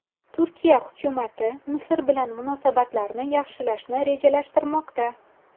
Turkiya hukumati Misr bilan munosabatlarni yaxshilashni rejalashtirmoqda.